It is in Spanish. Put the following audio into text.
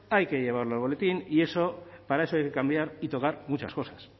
hay que llevarlo al boletín y para eso hay que cambiar y tocar muchas cosas